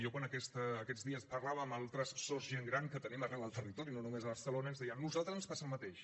jo quan aquests dies parlava amb altres sos gent gran que tenim arreu del territori no només a barcelona ens deien a nosaltres ens passa el mateix